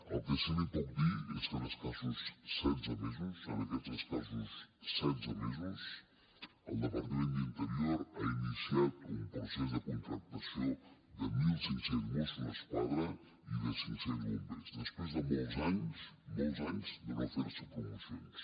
el que sí que li puc dir és que en escassos setze mesos en aquests escassos setze mesos el departament d’interior ha iniciat un procés de contractació de mil cinc cents mossos d’esquadra i de cinc cents bombers després de molts anys molts anys de no fer se promocions